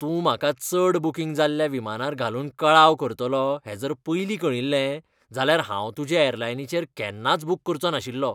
तूं म्हाका चड बूकींग जाल्ल्या विमानार घालून कळाव करतलो हें जर पयलीं कळिल्लें जाल्यार हांव तुजे ऍरलाइनीचेर केन्नाच बुक करचों नाशिल्लो.